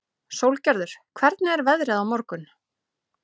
Sólgerður, hvernig er veðrið á morgun?